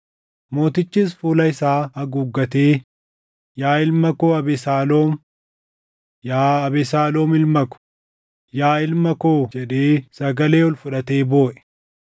Mootichis fuula isaa haguuggatee, “Yaa ilma koo Abesaaloom! Yaa Abesaaloom ilma ko, yaa ilma koo!” jedhee sagalee ol fudhatee booʼe.